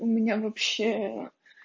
у меня вообще